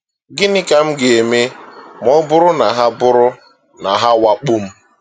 Gịnị ka m ga-eme ma ọ bụrụ na ha bụrụ na ha awakpoo m?